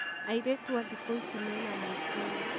Airĩtu a thĩkũ ici mena mwĩtio.